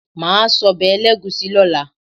Màá sọ́bẹ̀ ẹlẹ́gùúsí lọ́la.